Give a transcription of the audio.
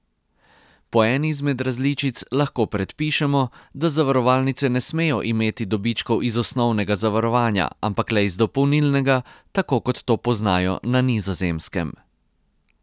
Po eni izmed različic lahko predpišemo, da zavarovalnice ne smejo imeti dobičkov iz osnovnega zavarovanja, ampak le iz dopolnilnega, tako kot to poznajo na Nizozemskem.